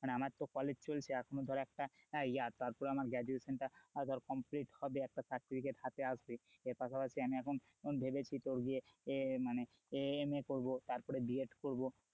মানে আমার তো college চলছে এখনো ধর একটা year তারপরে আমার graduation টা ধর complete হবে একটা certificate হাতে আসে এর পাশাপাশি আমি এখন ভেবেছি তোর যে মানে MA করবো তারপরে B. ed করবো,